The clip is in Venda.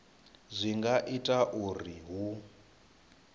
zwi nga itwa uri hu